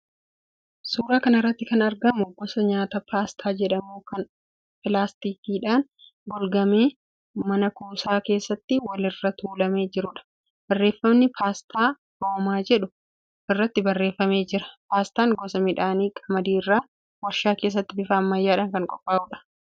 Suuraa kana irratti kan argamu gosa nyaataa paastaa jedhamu kan pilaastikiidhaan golgamee man-kuusaa keessa walirra tuulamee jiruudha. Barreeffamni 'PASTA ROMA' jedhu irratti barreeffamee jira. Paastaan gosa midhaanii qamadii irraa warshaa keessatti bifa ammayyaadhaan kan qophaa'uudha.